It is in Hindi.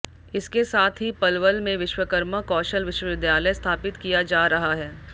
इसके साथ ही पलवल में विश्वकर्मा कौशल विश्विद्यालय स्थापित किया जा रहा है